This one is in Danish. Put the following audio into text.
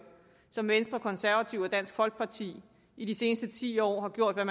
som venstre konservative og dansk folkeparti i de seneste ti år har gjort hvad